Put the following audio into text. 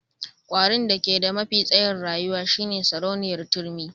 Kwarin da ke da mafi tsayin rayuwa shine sarauniyar turmi.